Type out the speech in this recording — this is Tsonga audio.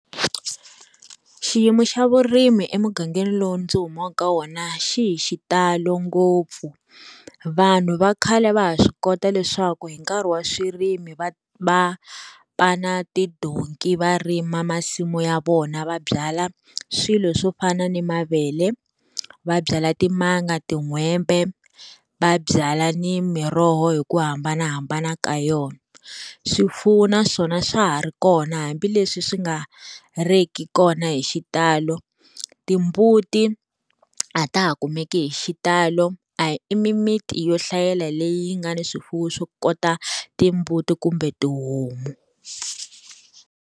Xiyimo xa vurimi emugangeni lowu ndzi humaka ka wona xi hi xitalo ngopfu vanhu va khale va ha swi kota leswaku hi nkarhi wa swirimi va va pana tidonki va rima masimu ya vona va byala swilo swo fana ni mavele vabyala timanga, tin'hwembe, va byala ni miroho hi ku hambanahambana ka yona, swifuwo na swona swa ha ri kona hambileswi swi nga riki kona hi xitalo timbuti a ta ha kumeki hi xitalo a i mimiti yo hlayela leyi nga ni swifuwo swo kota timbuti kumbe tihomu.